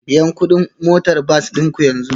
Biyan kuɗin motar bas ɗin ku yanzu